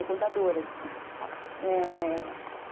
É contadora de história, é...